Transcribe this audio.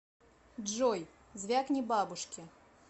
джой звякни бабушке